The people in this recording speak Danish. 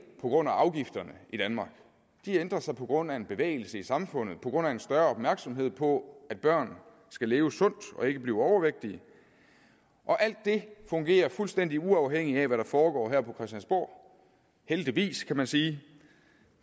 på grund af afgifterne i danmark de ændrer sig på grund af en bevægelse i samfundet på grund af en større opmærksomhed på at børn skal leve sundt og ikke blive overvægtige og alt det fungerer fuldstændig uafhængigt af hvad der foregår her på christiansborg heldigvis kan man sige